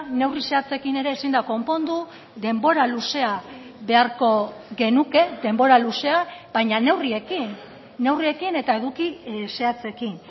neurri zehatzekin ere ezin da konpondu denbora luzea beharko genuke denbora luzea baina neurriekin neurriekin eta eduki zehatzekin